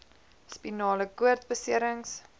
spinale koord beserings